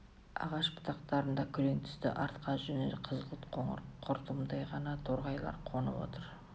ағаш бұтақтарында күрең түсті арқа жүні қызғылт-қоңыр құртымдай ғана торғайлар қонып отыр